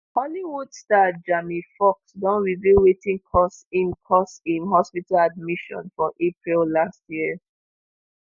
hollywood star jamie foxx don reveal wetin cause im cause im hospital admission for april last year